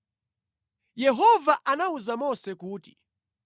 Yehova anawuza Mose kuti,